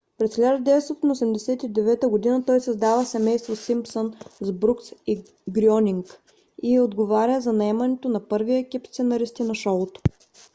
през 1989 г. той създава семейство симпсън с брукс и грьонинг и отговаря за наемането на първия екип сценаристи на шоуто